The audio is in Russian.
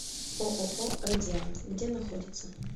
ооо радиан где находится